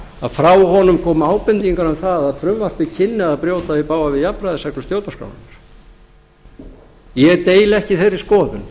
að frá honum komu ábendingar um það að frumvarpið kynni að brjóta í bága við jafnræðisreglur stjórnarskrárinnar ég deili ekki þeirri skoðun